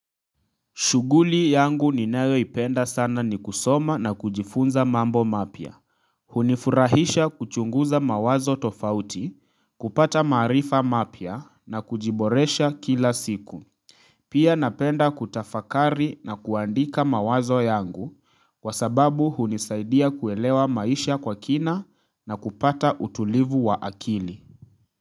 Shughuli yangu ninayo ipenda sana ni kusoma na kujifunza mambo mapya. Hunifurahisha kuchunguza mawazo tofauti, kupata maarifa mapya na kujiboresha kila siku. Pia napenda kutafakari na kuandika mawazo yangu kwa sababu hunisaidia kuelewa maisha kwa kina na kupata utulivu wa akili.